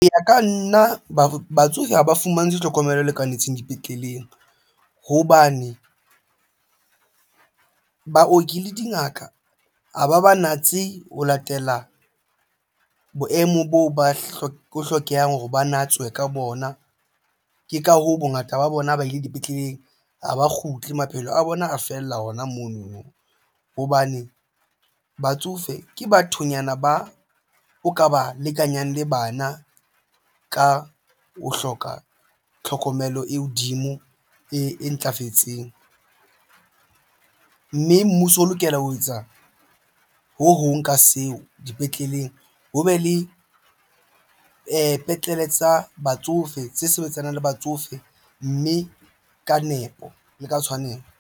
Hoya ka nna batsofe ha ba fumantshwe tlhokomelo e lekanetseng dipetleleng hobane baoki le dingaka ha ba ba natse ho latela boemo boo ba hlokehang hore ba natswe ka bona ke ka hoo bongata ba bona ba ile dipetleleng ha ba kgutle maphelo a bona a fella hona mono no hobane batsofe ke bathonyana ba o ka ba lekanyang le bana ka ho hloka tlhokomelo e hodimo e ntlafetseng, mme mmuso o lokela ho etsa ho hong ka seo dipetleleng ho be le petlele tsa batsofe tse sebetsanang le batsofe mme ka nepo le ka tshwanelo.